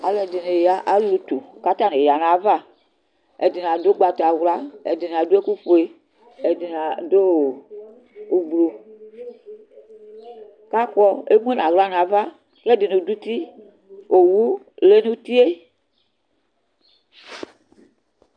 Alʋ ɛdini alʋ utu kʋ atani yanʋ ayʋ ava Ɛdini adʋ ʋgbatawla, ɛdini adʋ ɛkʋfue, ɛdini adʋ ʋblʋ, kʋ akɔ kʋ emʋnʋ aɣla nʋ ava kʋ ɛdini dʋ uti Owʋ lɛnʋ utie